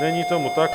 Není tomu tak.